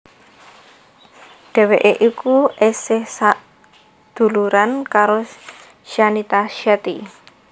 Dheweké iku esih sadhuluran karo Shanita Shetty